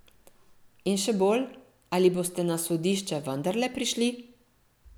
In še bolj, ali boste na sodišče vendarle prišli?